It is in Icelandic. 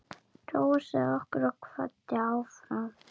Hrósaði okkur og hvatti áfram.